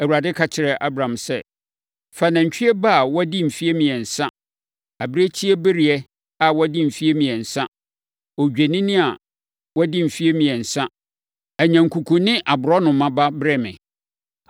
Awurade ka kyerɛɛ Abram sɛ, “Fa nantwie ba a wadi mfeɛ mmiɛnsa, abirekyibereɛ a wadi mfeɛ mmiɛnsa, odwennini a wadi mfeɛ mmiɛnsa, anyankuku ne aborɔnoma ba brɛ me.”